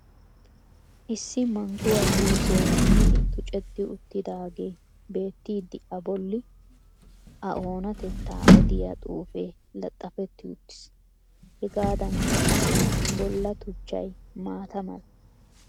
Issi mangguwa juusee kumidi tucceti uttidaagee beettid a bolli a onatettaa odiya xuufee laxxafetti uttiis. Hegaadanikka qassi bolla tuchchay maata mala.